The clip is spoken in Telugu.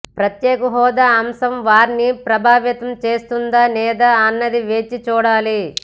ప్రత్యేక హోదా అంశం వారిని ప్రభావితం చేస్తుందా లేదా అన్నది వేచి చూడాలి